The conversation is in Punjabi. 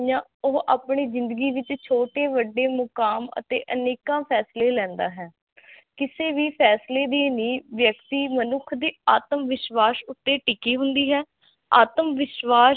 ਉਹ ਆਪਣੀ ਜਿੰਦਗੀ ਵਿਚ ਛੋਟੇ ਵੱਡੇ ਮੁਕਾਮ ਅਤੇ ਅਨੇਕਾ ਫੇਸਲੇ ਲੇੰਦਾ ਹੈ ਕਿਸੇ ਵੀ ਫੇਸਲੇ ਦੀ ਨੀਹ ਵਿਅਕਤੀ ਮਨੁਖ ਦੀ ਆਤਮ ਵਿਸਵਾਸ ਤੇ ਟਿਕੀ ਹੁੰਦੀ ਹੈ ਆਤਮਵਿਸ਼ਵਾਸ